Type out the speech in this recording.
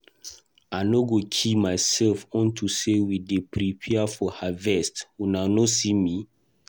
I no go kill myself unto say we dey prepare for harvest. Una no see me.